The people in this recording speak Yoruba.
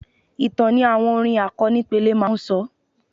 Ìtàn ni àwọn orin àkọnípele máa ń sọ.